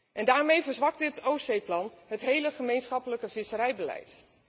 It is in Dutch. En daarmee verzwakt dit Oostzeeplan het hele gemeenschappelijke visserijbeleid.